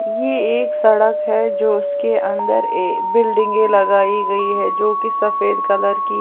ये एक सड़क है जो उसके अंदर ये बिल्डिंगे लगाई गई है जो की सफेद कलर की--